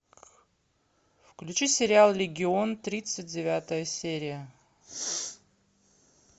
включи сериал легион тридцать девятая серия